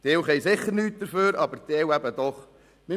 Ein Teil kann sicher nichts dafür, aber ein Teil eben schon.